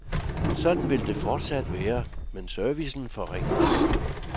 Sådan vil det fortsat være, men servicen forringes.